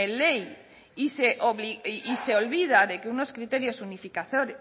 ley y se olvida de que unos criterios